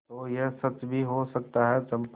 तो यह सच भी हो सकता है चंपा